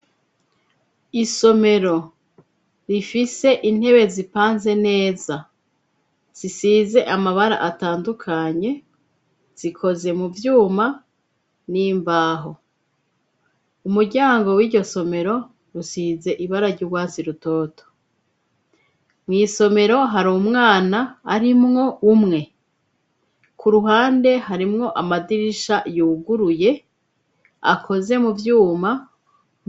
Isomero rifise intebe zipanze neza. Zisize amabara atandukanye zikoze mu vyuma n'imbaho. Umuryango w'iryo somero rusize ibara gy'uwasi rutoto mu isomero hari umwana ari mwo umwe ku ruhande harimwo amadirisha yuguruye akoze mu vyuma.